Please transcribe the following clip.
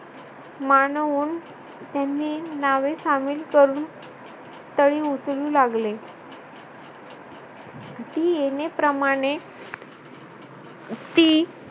मानवून त्यांनी नावे सामील करून तळी उचलू लागले ती येणेप्रमाणे ती